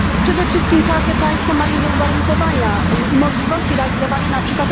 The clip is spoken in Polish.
Przede wszystkim każde państwo ma inne uwarunkowania i możliwości realizowania np.